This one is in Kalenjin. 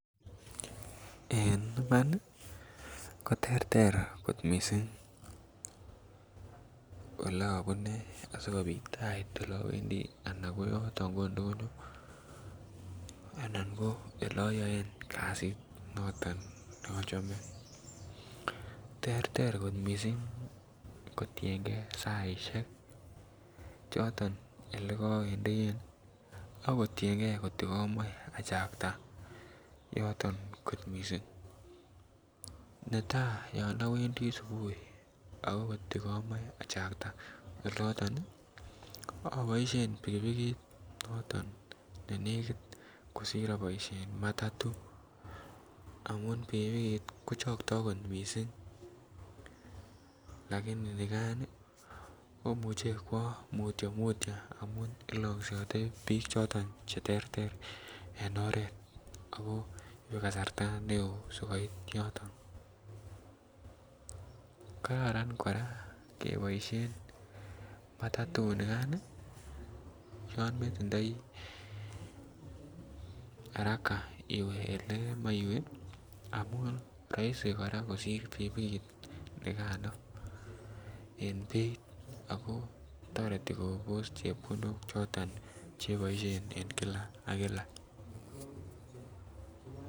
En Iman nii koterter missing oleobune asikopit ait oleowendii ana ko yoton ko ndonyo ana ko ole oyoe kasit noto nochome. Terter kot missing kotiyengee saishek choton olekowendie akotiyengee kotko komoi achakta yoton kot missing. Netai yon iwendii subuhi ako kotko komoi achakta olonton nii iboishen pikipikit noton nenekit kosir aboishen matatu amun pikipikit kochokto kot missing lakini nikan Nii komuche kwo mutyo mutyo amun iloksiote bik choton cheterter en oret ako ibe kasarta neo sikopit yoton. Kararan Koraa keboishen matatut nikan nii yon netindoi haraka iwee ole kemoi iwee amun roisi Koraa kosir pikipikit nikano en beit ako toreti Kobos chepkondok choton cheboishen en kila ak kila.